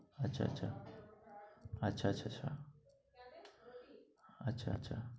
আচ্ছা আচ্ছা। আচ্ছা আচ্ছা আচ্ছা। আচ্ছা আচ্ছা।